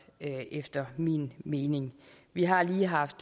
efter min mening vi har lige haft